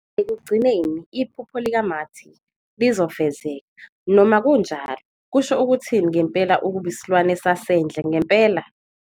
Ekugcineni, iphupho likaMarty lizofezeka, noma kunjalo, kusho ukuthini ngempela ukuba isilwane sasendle ngempela?